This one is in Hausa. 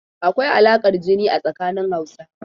Akwai alaƙar jini a tsanin Hausawa.